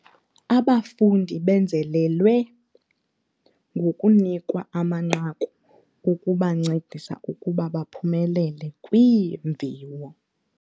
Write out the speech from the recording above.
Abafundi benzelelelwe ngokunikwa amanqaku okubancedisa ukuba baphumelele kwiimviwo.